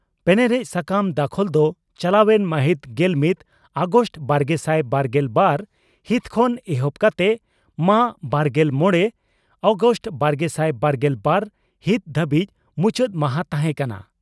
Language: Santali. ᱯᱮᱱᱮᱨᱮᱡ ᱥᱟᱠᱟᱢ ᱫᱟᱠᱷᱚᱞ ᱫᱚ ᱪᱟᱞᱟᱣᱮᱱ ᱢᱟᱹᱦᱤᱛ ᱜᱮᱞᱢᱤᱛ ᱟᱜᱚᱥᱴ ᱵᱟᱨᱜᱮᱥᱟᱭ ᱵᱟᱨᱜᱮᱞ ᱵᱟᱨ ᱦᱤᱛ ᱠᱷᱚᱱ ᱮᱦᱚᱵ ᱠᱟᱛᱮ ᱢᱟᱹ ᱵᱟᱨᱜᱮᱞ ᱢᱚᱲᱮ ᱟᱜᱚᱥᱴ ᱵᱟᱨᱜᱮᱥᱟᱭ ᱵᱟᱨᱜᱮᱞ ᱵᱟᱨ ᱦᱤᱛ ᱫᱷᱟᱹᱵᱤᱡ ᱢᱩᱪᱟᱹᱫ ᱢᱟᱦᱟᱸ ᱛᱟᱦᱮᱸ ᱠᱟᱱᱟ ᱾